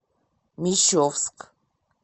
мещовск